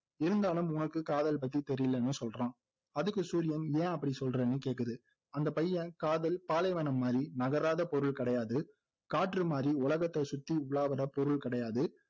இருந்தாலும் உனக்கு காதல் பத்தி தெரியலன்னு சொல்றான் அதுக்கு சூரியன் ஏன் அப்படி சொல்றன்னு கேக்குது அந்த பையன் காதல் பாலைவனம் மாதிரி நகராத பொருள் கிடையாது காற்று மாதிரி உலகத்தை சுற்றி உலா வர்ற பொருள் கிடையாது